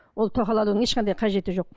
ол тоқал алудың ешқандай қажеті жоқ